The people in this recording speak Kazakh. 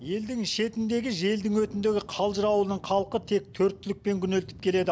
елдің шетіндегі желдің өтіндегі қалжыр ауылының халқы тек төрт түлікпен күнелтіп келеді